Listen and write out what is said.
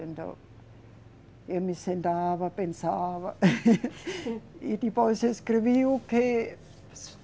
Então, eu me sentava, pensava, e depois escrevia o quê?